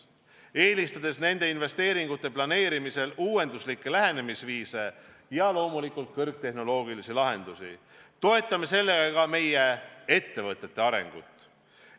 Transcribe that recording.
Eelistades nende investeeringute planeerimisel uuenduslikke lähenemisviise ja loomulikult kõrgtehnoloogilisi lahendusi, toetame ka oma ettevõtete arengut.